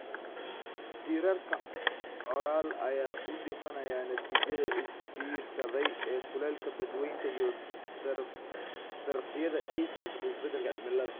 Diirarka Coral ayaa u dhimanaya natiijada is biirsaday ee kulaylka badweynta iyo darafyada ay sababto isbeddelka cimiladu.